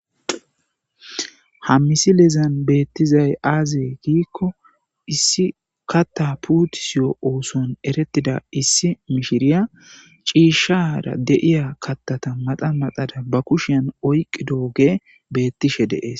Ha misilezani betizayi aze gikko issi katha putisewu ossoni eretidda issi mishiriya cishara deiya kathata maxa maxada ba kushiyani oyiqidogeyi bettesi.